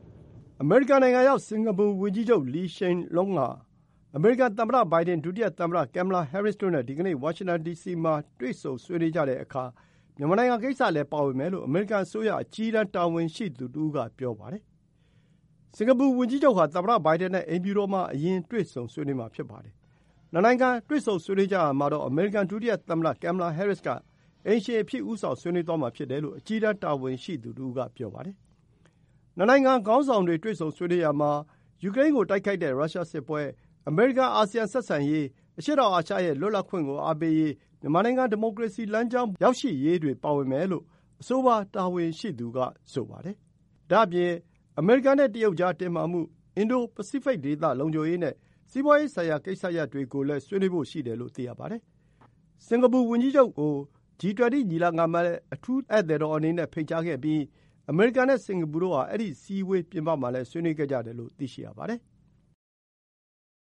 အမေရိကန်နိုင်ငံရောက် စင်္ကာပူဝန်ကြီးချုပ် Lee Hsien Loong ဟာ အမေရိကန်သမ္မတဘိုင်ဒန်၊ ဒုတိယသမ္မတ ကင်မလာဟဲရစ်တို့နဲ့ ဒီကနေ့ ဝါရှင်တန်ဒီစီမှာ တွေ့ဆုံဆွေးနွေးကြတဲ့အခါ မြန်မာနိုင်ငံကိစ္စလည်း ပါဝင်မယ် လို့ အမေရိကန်အစိုးရ အကြီးတန်းတာဝန်ရှိသူတဦးက ပြောပါတယ်။ စင်္ကာပူဝန်ကြီးချုပ်ဟာ သမ္မတဘိုင်ဒန်နဲ့ အိမ်ဖြူတော်မှာ အရင် တွေ့ဆုံဆွေးနွေးမှာ ဖြစ်ပါတယ်။ နှစ်နိုင်ငံတွေ့ ဆုံ ဆွေးနွေးကြရာမှာတော့ အမေရိကန်ဒုတိယသမ္မတ ကင်မလာဟဲရစ်က အိမ်ရှင်အဖြစ် ဦးဆောင် ဆွေးနွေးသွားမှာဖြစ်တယ်လို့ အကြီးတန်း တာဝန်ရှိသူတဦးက ပြောပါတယ်။ နှစ်နိုင်ငံ ခေါင်းဆောင်တွေ တွေ့ဆုံဆွေးနွေးရာမှာ ယူကရိန်းကို တိုက်ခိုက်တဲ့ ရုရှားစစ်ပွဲ၊ အမေရိကန် အာဆီယံ ဆက်ဆံရေး၊ အရှေ့တောင်အာရှရဲ့ လွတ်လပ်ခွင့်ကို အားပေးရေး၊ မြန်မာနိုင်ငံ ဒီမိုကရေစီလမ်းကြောင်းပေါ် ရောက်ရှိရေးတွေ ပါဝင်မယ်လို့ အဆိုပါတာဝန်ရှိသူက ဆိုပါတယ်။ ဒါ့အပြင် အမေရိကန်နဲ့တရုတ်ကြား တင်းမာမှု၊ အင်ဒို-ပစိဖိတ်ဒေသလုံခြုံရေးနဲ့ စီးပွါးရေးဆိုင်ရာကိစ္စရပ်တွေကိုလည်း ဆွေးနွေးဖို့ ရှိတယ်လို့ သိရပါတယ်။ စင်္ကာပူဝန်ကြီးချုပ်ကို G 20 ညီလာခံမှာလည်း အထူးဧည့်သည်တော်အနေနဲ့ ဖိတ်ကြားခဲ့ပြီး အမေရိကန်နဲ့ စင်္ကာပူတို့ဟာ အဲဒီ အစည်းအဝေး ပြင်ပမှာလည်း ဆွေးနွေးခဲ့ကြတယ်လို့ သိရပါတယ်။